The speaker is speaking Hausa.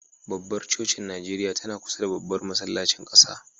Babbar cocin NIjeriya tana kusa da Babban masallacin ƙasa.